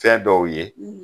Fɛn dɔw ye